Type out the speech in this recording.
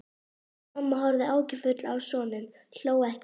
En mamma horfði áhyggjufull á soninn, hló ekki.